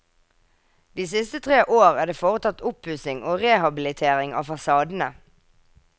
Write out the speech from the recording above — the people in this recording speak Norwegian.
De siste tre år er det foretatt oppussing og rehabilitering av fasadene.